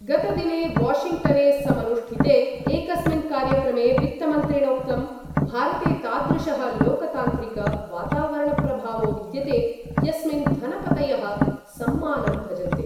गतदिने वॉशिंग्टने समनुष्ठिते एकस्मिन् कार्यक्रमे वित्तमन्त्रिणोक्तं भारते तादृशः लोकतान्त्रिक वातावरणप्रभावो विद्यते यस्मिन् धनपतयः सम्मानं भजन्ते।